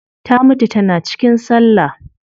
Ta mutu tana cikin sallah